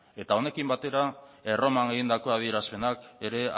eta honekin batera erroman egindako adierazpenak ere